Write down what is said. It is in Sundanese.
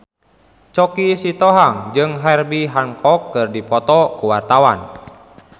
Choky Sitohang jeung Herbie Hancock keur dipoto ku wartawan